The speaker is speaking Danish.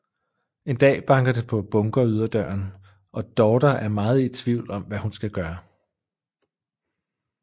En dag banker det på bunkeryderdøren og daughter er meget i tvivl om hvad hun skal gøre